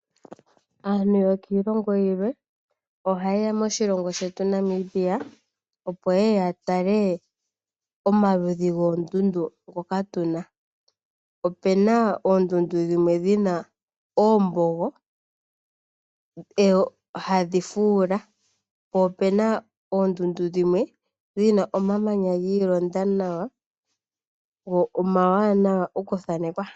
Aantu yokiilongo yilwe ohaye ya moshilongo shetu Namibia opo ye ye ya tale omaludhi goondundu ngoka tu na. Opu na oondundu dhimwe dhi na oombogo hadhi fuula, po opu na oondundu dhimwe dhi na omamanya giilonda nawa go omawanwa okuthanekwa.